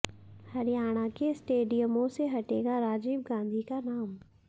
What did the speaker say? हरियाणा के स्टेडियमों से हटेगा राजीव गांधी का नाम